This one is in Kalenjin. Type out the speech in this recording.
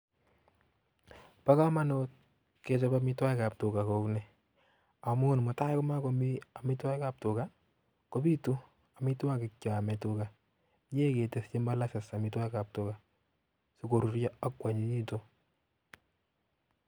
Bo kamanut ke chop amitwokikab tuga kou ni amu mutai komakomi amitwogikab tuga kobitu amitwogikab cheame tuga inyo miei ketesyi molases amitwogikab tuga si korurio akuanyinyitun.